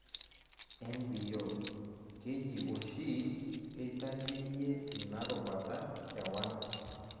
Nbo, keji oshi keitasheyie ina rubata kewan.